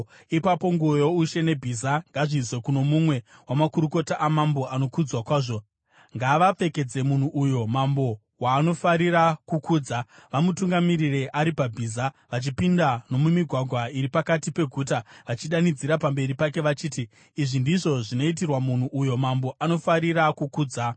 Ipapo nguo youshe nebhiza ngazviiswe kuno mumwe wamakurukota amambo anokudzwa kwazvo. Ngavapfekedze munhu uyo mambo waanofarira kukudza, vamutungamirire ari pabhiza vachipinda nomumigwagwa iri pakati peguta, vachidanidzira pamberi pake vachiti, ‘Izvi ndizvo zvinoitirwa munhu uyo mambo anofarira kukudza!’ ”